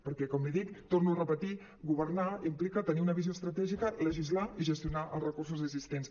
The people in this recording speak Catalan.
perquè com l’hi dic ho torno a repetir governar implica tenir una visió estratègica legislar i gestionar els re·cursos existents